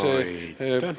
Aitäh!